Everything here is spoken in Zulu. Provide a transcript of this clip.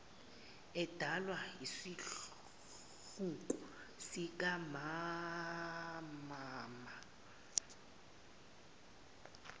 edalwa isihluku sikammmmmama